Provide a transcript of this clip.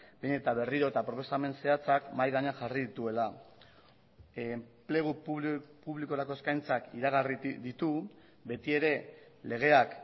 behin eta berriro eta proposamen zehatzak mahai gainean jarri dituela enplegu publikorako eskaintzak iragarri ditu beti ere legeak